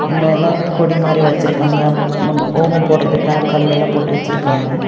நெலத் கொடி மாரி வச்சுருக்காங்க ஓமம் போடறதுக்கான கல்லல்லா போட்டு வச்சுருக்காங்க.